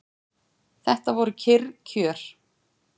Þetta voru kyrr kjör.